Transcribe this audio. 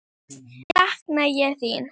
Mikið sakna ég þín.